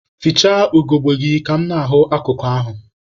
Fichaa ugogbe gị ka mụ na-ahụ akụkụ ahụ!